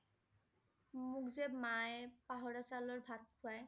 মোক যে মায়ে পাহৰা চাউলৰ ভাত খুৱাই।